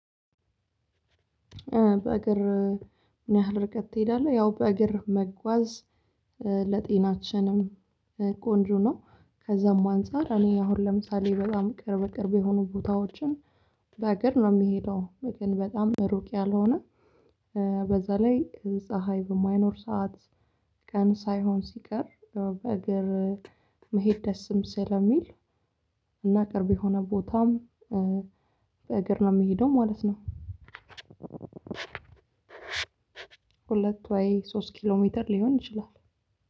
በእግር ምንያህል ርቀት ትሄዳለህ? ያው በእግር መጓዝ ለጤናችንም ቆንጆ ነው። ከዛም አንፃር እኔ አሁን ለምሳሌ በጣም ቅርብ ቅርብ የሆኑ ቦታዎችን በእግር ነው የሚሄደው። ግን በጣም ሩቅ ያልሆነ በዛ ላይ ፀሀይ በማይኖር ሰዓት ቀን ሳይሆን ሲቀር ያው በእግር መሄድ ደስም ስለሚል። እና ቅርብ የሆነ ቦታም በእግር ነው የምሄደው ማለት ነው። ሁለት ወይ ሶስት ኪሎ ሜትር ሊሆን ይችላል።